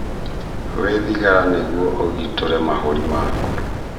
Wĩ thigara nĩgũo ũgitũre mahũri maku